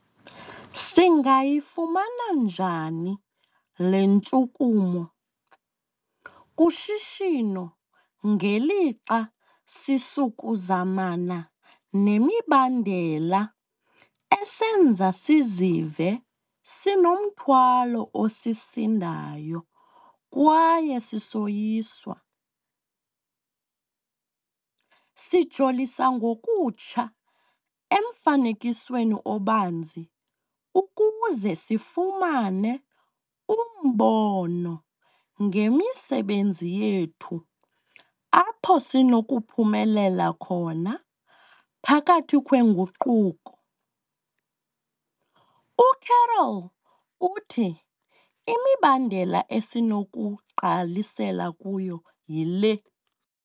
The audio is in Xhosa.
Singayifumana njani le ntshukumo kushishino ngelixa sisukuzana nemibandela esenza sizive sinomthwalo osisindayo kwaye sisoyiswa? Sijolisa ngokutsha emfanekisweni obanzi ukuze sifumane umbono ngemisebenzi yethu apho sinokuphumelela khona phakathi kwenguquko. UCarroll uthi imibandela esinokugqalisela kuyo yile.